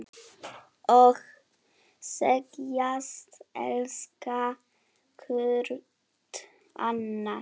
Og segjast elska hvort annað.